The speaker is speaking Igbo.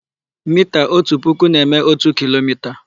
Mita ótù puku na-eme ótù kilomita.